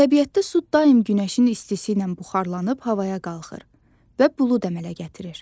Təbiətdə su daim günəşin istisi ilə buxarlanıb havaya qalxır və bulud əmələ gətirir.